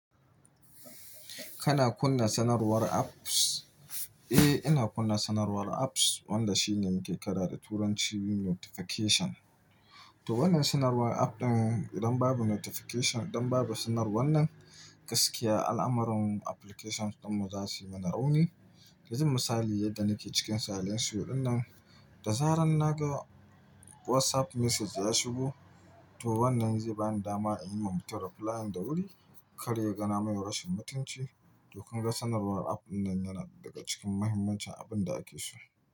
Kana kunna sanarwar apps? Eh, ina kunna sanarwar apps wanda shine muke kira da turanci notification. To wannan sanarwar app ɗin idan babu notification, idan babu sanarwar nan, gaskiya al'amarran applications ɗinmu za su yi mana rauni. Yan zun misali yadda nike cikin salon suyo dinnan, da zaran naga WhatsApp message ya shigo, to wannan zai bani dama in yi mabtarwa flayan da wuri, karya gana mai rashin mutunci. To kunga sanarwar app ɗinnan yana daga cikin muhimmancin abinda ake so.